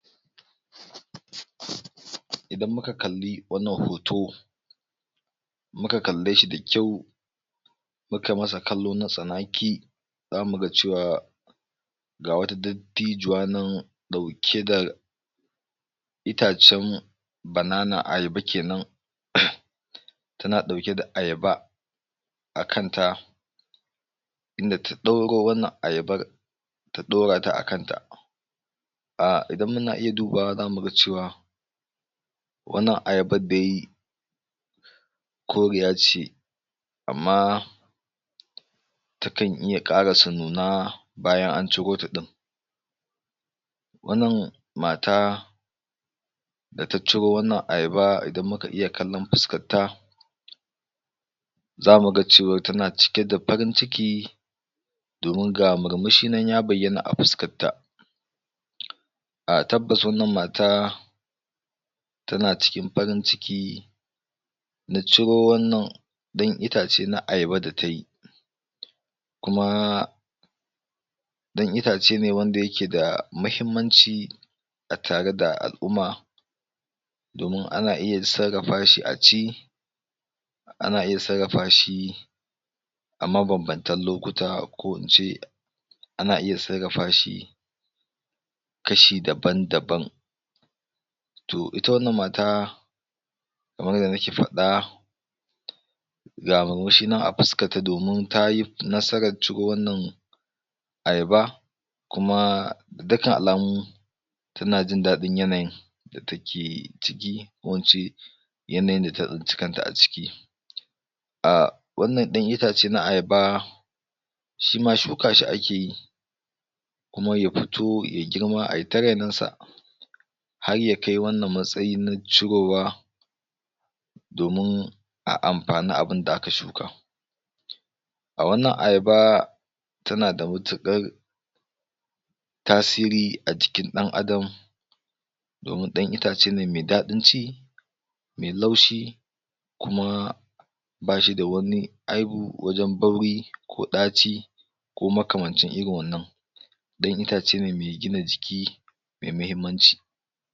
Idan muka kalli wannan hoto, muka kalle shi da kyau muka masa kallo na tsanaki, zamu ga cewa, ga wata dattijuwa nan ɗauke da itacen banana, ayaba kenan tana ɗauke da ayaba, akanta, inda ta ɗauro wannan ayabar, ta ɗorata a kanta, Ah idan muna iy dubawa zamu ga cewa wannan ayabar dai, koriya ce amma takan iya ƙarasa nuna bayan an ciro ta ɗin. Wannan mata, da ta ciro wannan ayaba idan muka iya kallon fuskarta, zamu ga cewa tana cike da farin ciki, domin ga murmushi nan ya bayyana a fuskarta, ah tabbasa wannan mata tana cikin farin ciki na ciro wannan ɗan itace na ayaba da tayi. Kuma, ɗan itace ne wanda yake da muhimmanci, a tare da al'umma, domin ana iya sarrafa shi a ci, ana iya sarrafa shi a mabanbantan lokuta ko ince, ana iya sarrafa shi kashi daban-daban. To ita wannan mata kamar yadda nake faɗa, ga murmushi nan a fuskarta domin tayi nasarar ciro wannan ayaba, kuma dukan alamu, tana jin daɗin yanayin da take ciki, wacce yanayin da ta tsinci kant a ciki. Ah wannan ɗan itace na ayaba, shima shuka shi akeyi kuma ya fito yai girma ai ta renon sa, har yakai wannan matsayi na cirowa domin a amfani abunda aka shuka. A wannan ayaba tana sda matukar tasiri a jikin ɗan adam domin ɗan itace me daɗin ci, me laushi, kuma bashi da wani aibu wajen bauri ko ɗaci, ko makamancin irin wannan, ɗan itace ne me gina jiki, mai muhimmanci.